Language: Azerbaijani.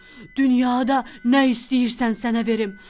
Dünyada nə istəyirsən sənə verim.